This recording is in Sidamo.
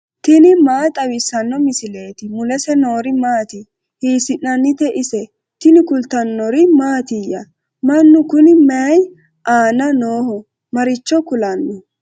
tini maa xawissanno misileeti ? mulese noori maati ? hiissinannite ise ? tini kultannori mattiya? Mannu kunni mayii aanna nooho? Maricho kulanno?